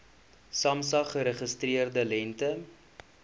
samsa geregistreerde lengte